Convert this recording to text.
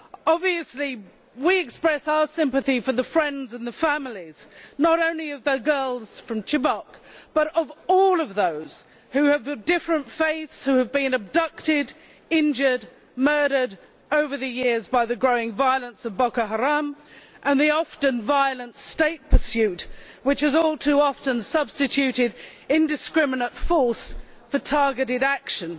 Obviously we express our sympathy for the friends and the families, not only of the girls from Chibok, but of all of those of different faiths who have been abducted, injured and murdered over the years by the growing violence of Boko Haram and the often violent state pursuit which has all too often substituted indiscriminate force for targeted action.